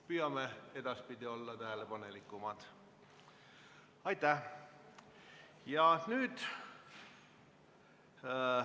Püüame edaspidi olla tähelepanelikumad.